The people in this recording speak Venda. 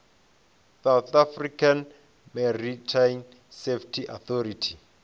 south african maritime safety authority